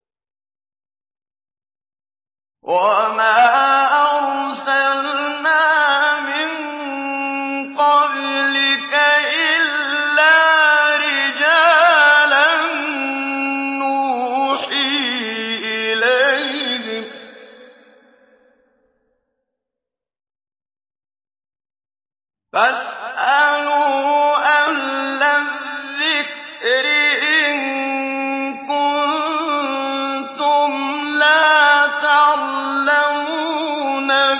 وَمَا أَرْسَلْنَا مِن قَبْلِكَ إِلَّا رِجَالًا نُّوحِي إِلَيْهِمْ ۚ فَاسْأَلُوا أَهْلَ الذِّكْرِ إِن كُنتُمْ لَا تَعْلَمُونَ